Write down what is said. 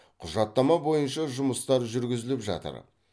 құжаттама бойынша жұмыстар жүргізіліп жатыр